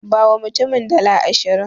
Bawa mutumin dala ashirin.